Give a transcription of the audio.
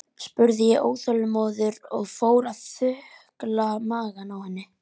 spurði ég óþolinmóður og fór að þukla magann á henni.